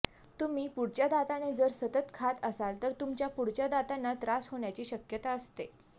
तुम्ही पुढच्या दाताने जर सतत खात असाल तर तुमच्या पुढच्या दातांना त्रास होण्याची शक्यता असते